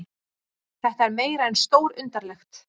Þetta er meira en stórundarlegt